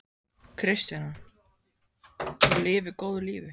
Kristjana: Og lifi góðu lífi?